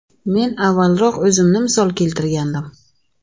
Men avvalroq o‘zimni misol keltirgandim.